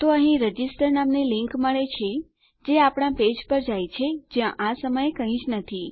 તો અહીં રજિસ્ટર નામની લીંક મળે છે જે આપણા પેજ પર જાય છે જ્યાં આ સમયે કઈ જ ન નથી